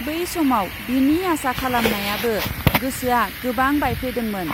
बै समाव बिनि आसा खालामनायाबो गोसोआ गोबां बायफ्लेदोंमोन ।